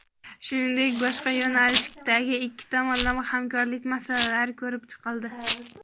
Shuningdek, boshqa yo‘nalishdagi ikki tomonlama hamkorlik masalalari ko‘rib chiqildi.